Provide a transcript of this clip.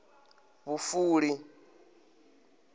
vhufuli